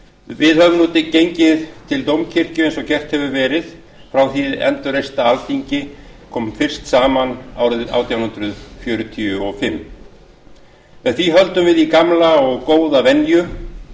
við höfum nú gengið til dómkirkju eins og gert hefur verið frá því hið endurreista alþingi kom fyrst saman árið átján hundruð fjörutíu og fimm með því höldum við í gamla og góða venju